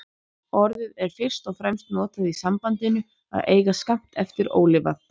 Orðið er fyrst og fremst notað í sambandinu að eiga skammt eftir ólifað.